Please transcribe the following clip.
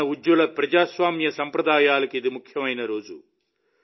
మన ఉజ్వల ప్రజాస్వామ్య సంప్రదాయాలకు ఇది ముఖ్యమైన రోజు